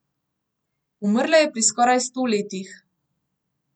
Umrla je pri skoraj sto letih.